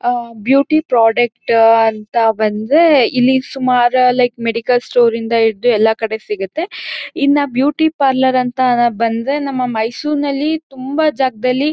ಆಹ್ಹ್ beauty product ah ಅಂಥ ಬಂದ್ರೆ ಇಲ್ಲಿ ಸುಮಾರ್ ಲೈಕ್ ಮೆಡಿಕಲ್ ಸ್ಟೋರ್ ಇಂದ ಹಿಡಿದು ಎಲ್ಲ ಕಡೆ ಸಿಗುತ್ತೆ. ಇನ್ನ ಬ್ಯೂಟಿ ಪಾರ್ಲರ್ ಅಂಥ ಬಂದ್ರೆ ನಮ್ಮ ಮೈಸೂರ ಇನಲ್ಲಿ ತುಂಬಾ ಜಾಗದಲ್ಲಿ-